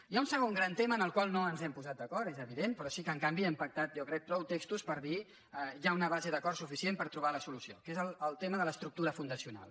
hi ha un segon gran tema en el qual no ens hem posat d’acord és evident però sí que en canvi hem pactat jo crec prou textos per dir hi ha una base d’acord suficient per trobar la solució que és el tema de l’es·tructura fundacional